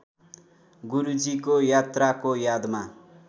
गुरूजीको यात्राको यादमा